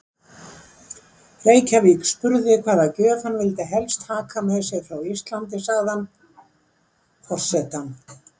Reykjavík spurði hvaða gjöf hann vildi helst taka með sér frá Íslandi, sagði hann: Forsetann